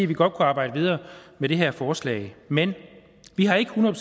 vi godt kunne arbejde videre med det her forslag men vi har ikke hundrede